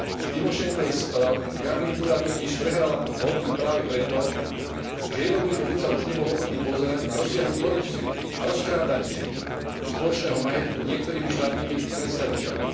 Tymošenkovej garnitúra totiž prehrala voľby práve preto, že jednoduchý ľud sa už nebol ochotný pozerať na rozsiahlu korupciu a rozkrádanie spoločného majetku niektorými štátnymi predstaviteľmi.